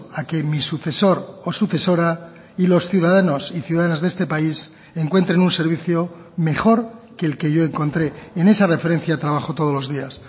a que mi sucesor o sucesora y los ciudadanos y ciudadanas de este país encuentren un servicio mejor que el que yo encontré en esa referencia trabajo todos los días